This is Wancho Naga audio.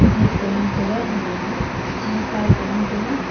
dish e ngan tai ga chi pipe e ngan taiga.